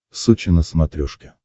сочи на смотрешке